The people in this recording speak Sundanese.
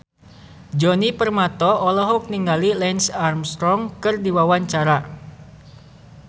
Djoni Permato olohok ningali Lance Armstrong keur diwawancara